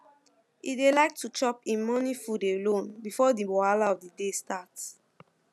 e dey like to chop em morning food alone before the wahala of the day start